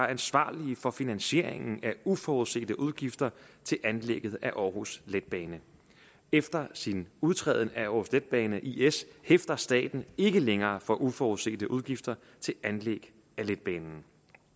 ansvarlige for finansieringen af uforudsete udgifter til anlægget af aarhus letbane efter sin udtræden af aarhus letbane is hæfter staten ikke længere for uforudsete udgifter til anlæg af letbanen